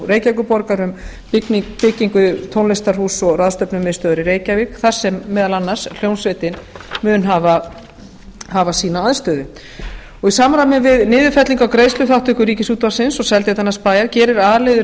reykjavíkurborgar um byggingu tónlistarhúss og ráðstefnumiðstöðvar í reykjavík þar sem meðal annars hljómsveitin mun hafa sína aðstöðu í samræmi við niðurfellingu á greiðsluþátttöku ríkisútvarpsins og seltjarnarnesbæjar gerir a liður